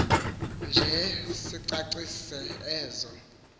nje sicacise ezo